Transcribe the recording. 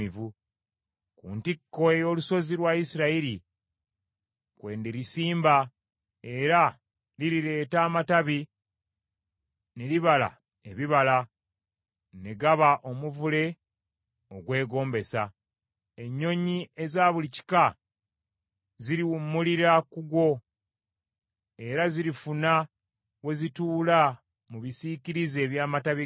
Ku ntikko ey’olusozi lwa Isirayiri kwe ndirisimba era lirireeta amatabi ne libala ebibala, ne gaba omuvule ogwegombesa. Ennyonyi eza buli kika ziriwummulira ku gwo, era zirifuna we zituula mu bisiikirize eby’amatabi gaagwo.